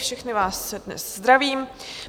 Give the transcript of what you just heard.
Všechny vás dnes zdravím.